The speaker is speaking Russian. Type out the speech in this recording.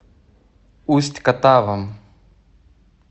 усть катавом